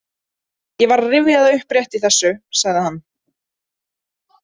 Ég var að rifja það upp rétt í þessu, sagði hann.